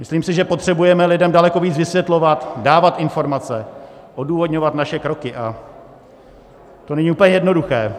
Myslím si, že potřebujeme lidem daleko víc vysvětlovat, dávat informace, odůvodňovat naše kroky, a to není úplně jednoduché.